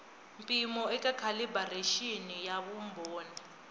mpimo eka calibiraxini na vumbhoni